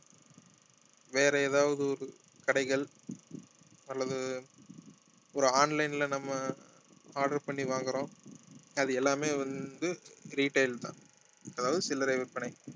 வேற ஏதாவது ஒரு கடைகள் அல்லது ஒரு online ல நம்ம order பண்ணி வாங்குறோம் அது எல்லாமே வந்து retail தான் அதாவது சில்லறை விற்பனை